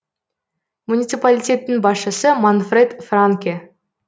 муниципалитеттің басшысы манфред франке